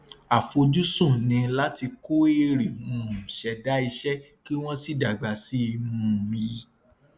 àfojúsùn ni láti kó èrè um ṣẹda iṣẹ kí wón sì dágbà sí um i